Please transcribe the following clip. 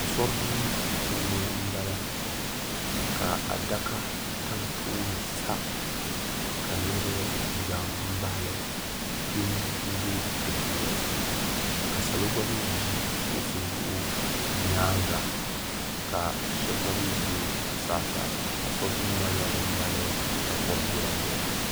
Asori duu puuni m bala ka adaka yam tooni sa ka niriba za m baɣali kpim m be dipuuni ka salo mee ʒi kuɣusi zuɣu nyaanga ka sheba mee be zuɣusaa sa asori duu maa nyɛla din mali takori viɛla viɛla.